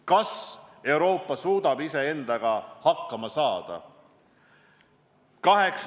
Kas Euroopa suudab iseendaga hakkama saada?